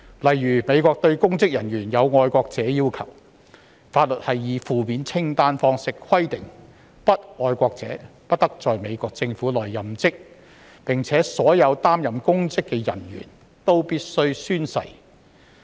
例如，美國對公職人員有"愛國者"要求，法律以負面清單方式規定，不愛國者不得在美國政府內任職，而且所有擔任公職的人員均必須宣誓。